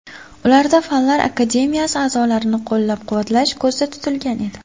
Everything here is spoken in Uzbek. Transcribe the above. Ularda Fanlar akademiyasi a’zolarini qo‘llab-quvvatlash ko‘zda tutilgan edi.